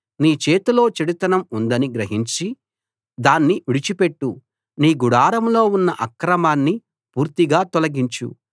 నీ చేతిలో చెడుతనం ఉందని గ్రహించి దాన్ని విడిచిపెట్టు నీ గుడారంలో ఉన్న అక్రమాన్ని పూర్తిగా తొలగించు